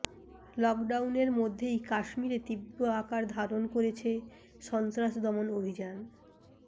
লকডাউনের মধ্যেই কাশ্মীরে তীব্র আকার ধারণ করেছে সন্ত্রাস দমন অভিযান